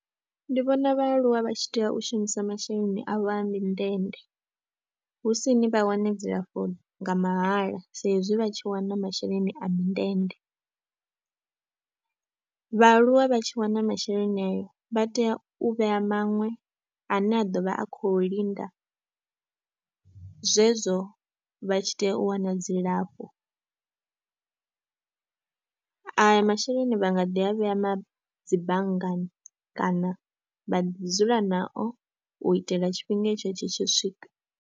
Ndi vhona vhaaluwa vha tshi tea u shumisa masheleni avho a mindende hu si ni vha wane dzilafho nga mahala sa izwi vha tshi wana masheleni a mindende. Vhaaluwa vha tshi wana masheleni ayo vha tea u vhea maṅwe ane a ḓo vha a khou linda zwezwo vha tshi tea u wana dzilafho, ayo masheleni vha nga ḓi a vhea dzi banngani kana vha ḓi dzula nao u itela tshifhinga etsho tshi tshi swika.